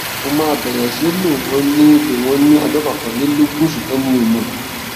mo máa bẹrẹ sí lò wọn ní lò wọn ní ọjọ kọkànlélógún ṣùgbọn mi ò mọ